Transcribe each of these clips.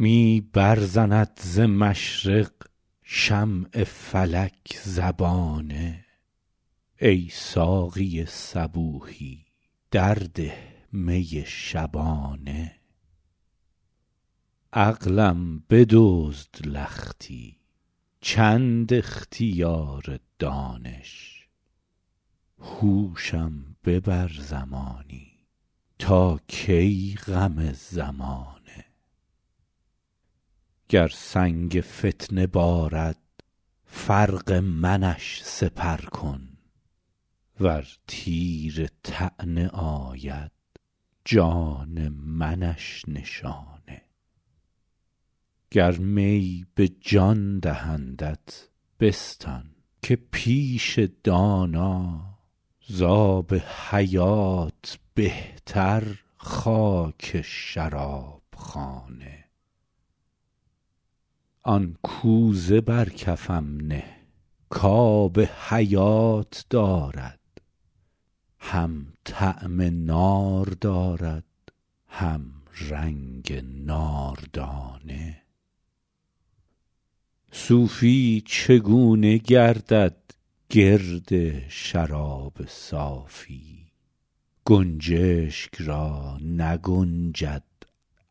می برزند ز مشرق شمع فلک زبانه ای ساقی صبوحی در ده می شبانه عقلم بدزد لختی چند اختیار دانش هوشم ببر زمانی تا کی غم زمانه گر سنگ فتنه بارد فرق منش سپر کن ور تیر طعنه آید جان منش نشانه گر می به جان دهندت بستان که پیش دانا زآب حیات بهتر خاک شراب خانه آن کوزه بر کفم نه کآب حیات دارد هم طعم نار دارد هم رنگ ناردانه صوفی چگونه گردد گرد شراب صافی گنجشک را نگنجد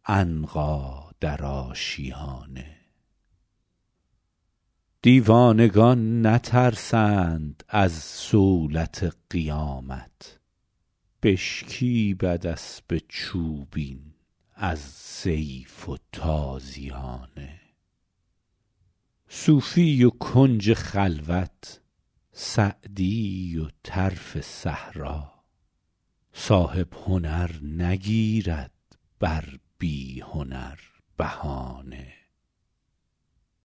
عنقا در آشیانه دیوانگان نترسند از صولت قیامت بشکیبد اسب چوبین از سیف و تازیانه صوفی و کنج خلوت سعدی و طرف صحرا صاحب هنر نگیرد بر بی هنر بهانه